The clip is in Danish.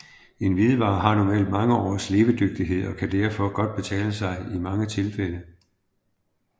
En hvidevare har normalt mange års levedygtighed og det kan derfor godt betale sig i mange tilfælde